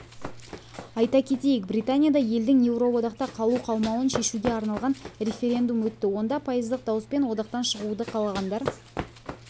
айта кетейік британияда елдің еуроодақта қалу-қалмауын шешуге арналған референдум өтті онда пайыздық дауыспен одақтан шығуды қалағандар